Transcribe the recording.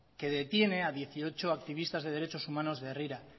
que detiene a dieciocho activistas de derechos humanos de herrira